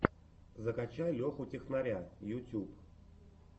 закачай леху технаря ютюб